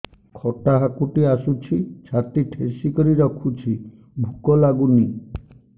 ଖଟା ହାକୁଟି ଆସୁଛି ଛାତି ଠେସିକରି ରଖୁଛି ଭୁକ ଲାଗୁନି